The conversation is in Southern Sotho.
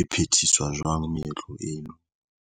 e phethiswa jwang meetlo eno.